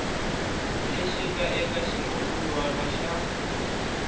lexi nga eka xirungulwana xa